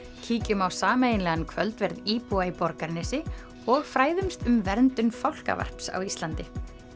kíkjum á sameiginlegan kvöldverð íbúa í Borgarnesi og fræðumst um verndun á Íslandi